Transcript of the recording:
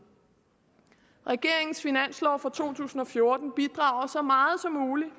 regeringens finanslov for to tusind og fjorten bidrager så meget som muligt